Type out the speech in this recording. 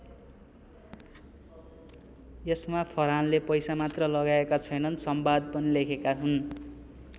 यसमा फरहानले पैसा मात्र लगाएका छैनन् संवाद पनि लेखेका हुन्।